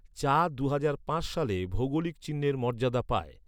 চা দুহাজার পাঁচ সালে ভৌগোলিক চিহ্নের মর্যাদা পায়।